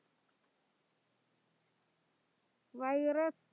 virus